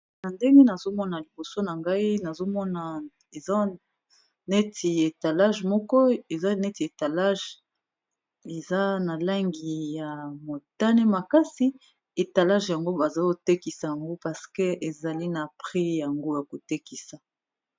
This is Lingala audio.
Na ndenge nazomona liboso na ngai, nazomona eza neti etalage moko, eza na langi ya motane makasi, etalage yango bazo kotekisa yango parce que ezali na prix nango ya kotekisa.